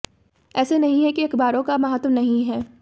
ऐसे नहीं है कि अखबारों का महत्त्व नहीं है